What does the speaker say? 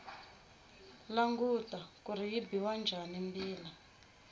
languta kuri yi biwa njhani mbila